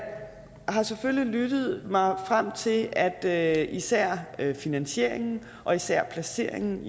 har selvfølgelig lyttet mig frem til at især finansieringen og især placeringen